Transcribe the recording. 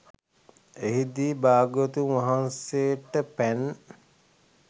එහිදී භාග්‍යවතුන් වහන්සේට පැන්